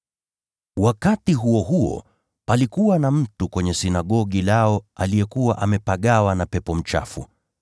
Wakati huo huo katika sinagogi lao palikuwa na mtu aliyekuwa amepagawa na pepo mchafu,